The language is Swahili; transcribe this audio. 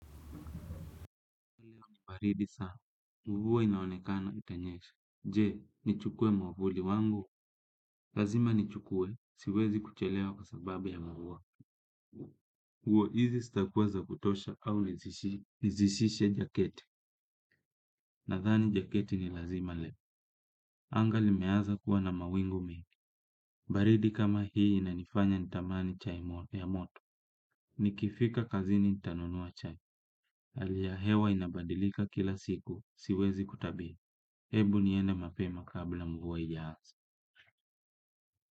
Baridi saa, mvua inaonekana itanyesha. Je, nichukue mwavuli wangu. Lazima nichukue, siwezi kuchelewa kwa sababu ya mavua. Nguo hizi zitakuwa za kutosha au nizisishe jaketi. Nathani jaketi ni lazima lepo. Anga limeanza kuwa na mawingu mi. Baridi kama hii inanifanya nitamani chai ya moto. Nikifika kazini nitanunua chai. Ali ya hewa inabadilika kila siku, siwezi kutabili. Hebu niende mapema kabla mvua haijaanza.